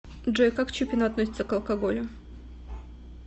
джой как чупина относится к алкоголю